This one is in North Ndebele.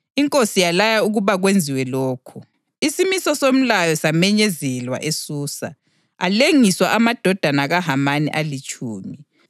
Inkosi yalaya ukuba kwenziwe lokho. Isimiso somlayo samenyezelwa eSusa, alengiswa amadodana kaHamani alitshumi.